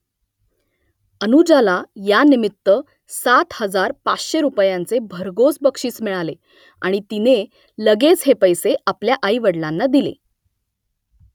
अनुजाला यानिमित्त सात हजार पाचशे रुपयांचे भरघोस बक्षीस मिळाले आणि तिने लगेच हे पैसे आपल्या आईवडलांना दिले